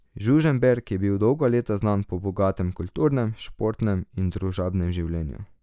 Žužemberk je bil dolga leta znan po bogatem kulturnem, športnem in družabnem življenju.